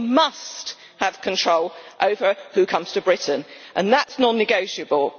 We must have control over who comes to Britain and that is non negotiable.